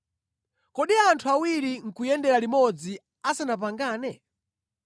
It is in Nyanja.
Kodi anthu awiri nʼkuyendera limodzi asanapangane?